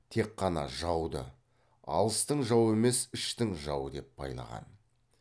тек қана жауды алыстың жауы емес іштің жауы деп байлаған